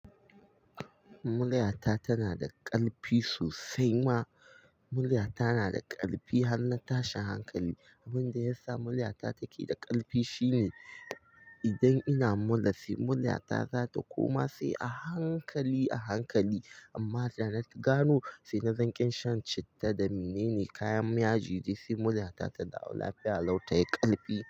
Muryata tana da ƙarfi sosai ma. Muryata na da ƙarfi har na tashi hankali. Abin da ya sa muryata take da ƙarfi shine idan ina mura sai muryata zata koma sai a hankali a hankali. Amma da na gano sai na zaƙe shan citta da mene ne kayan yaji dai sai muryata ta dawo lafiya. Lau tayi ƙarfi.